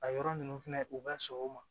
A yɔrɔ ninnu fɛnɛ u bɛ sɔn o ma